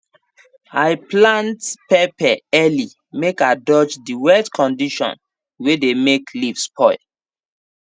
i plant pepper early make i dodge the wet condition wey dey make leaf spoil